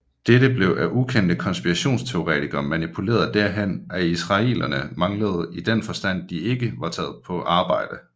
Dette blev af ukendte konspirationsteoretikere manipuleret derhen at israelerne manglede i den forstand de ikke var taget på arbejde